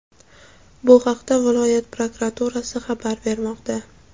Bu haqda viloyat prokuraturasi xabar bermoqda.